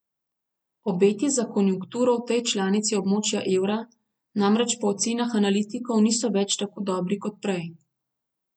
Obeti za konjunkturo v tej članici območja evra namreč po ocenah analitikov niso več tako dobri kot prej.